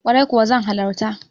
Kwarai kuwa zan halarta.